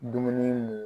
Dumuni mun